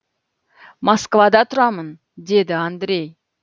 москвада тұрамын деді андрей